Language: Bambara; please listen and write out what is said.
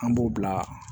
An b'o bila